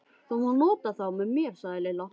Þú mátt nota þá með mér sagði Lilla.